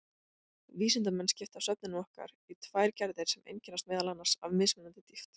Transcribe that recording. Vísindamenn skipta svefninum okkar í tvær gerðir sem einkennast meðal annars af mismunandi dýpt.